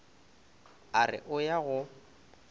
a re o ya go